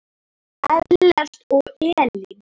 Ellert og Elín.